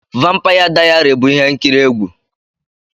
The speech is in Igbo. Vampaya Dayari bụ ihe nkiri egwu.